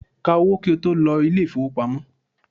Ká owó kí o tó lọ ilé ìfowópamọ́!